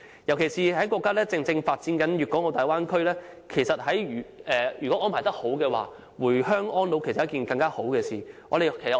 尤其是，國家正發展粵港澳大灣區，如果安排得宜，回鄉安老是一件更好的事。